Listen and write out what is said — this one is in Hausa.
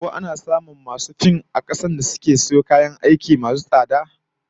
Ko ana samun masu fim na kasar mu dake iya sayo kayan aiki masu tsada na waje?